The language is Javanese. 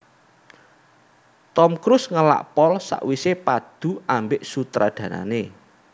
Tom Cruise ngelak pol sakwise padu ambek sutradarane